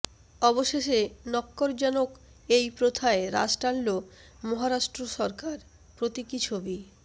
অবশেষে নক্ক্যরজনক এই প্রথায় রাশ টানল মহারাষ্ট্র সরকার প্রতীকী ছবি